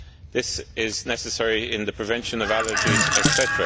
this is necessary in the prevention of allergies, etc.